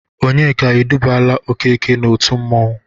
Ònyeka edubaala Okeke n'otu mmanwụ.